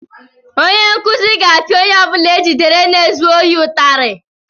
Onye nkuzi ga-apịa onye ọ bụla e jidere na-ezu ohi ụtarị.